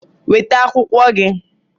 Weta akwụkwọ gị!